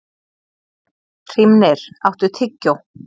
Hrímnir, áttu tyggjó?